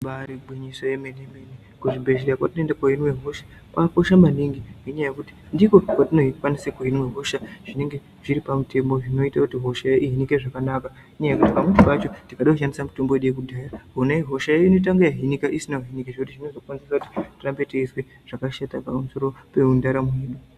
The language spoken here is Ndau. Ibari gwinyiso yemene, kuzvibhehlera kwatinoenda koonekwa hosha kwakakosha maningi ngekuti ndiko kwatinokwanisa kuonekwa hosha zvinonga zviri pamutemo zvinoita kuti hosha iyona ihinike zvakanaka. Ngekuti pamweni pacho tikada kushandisa mitombo yedu yekudhaya, hoshayo unoita kunge yahinika isina kuhinika zvinozokonzera kuti tirambe teizwa zvakashata pamusoro pendaramo yedu.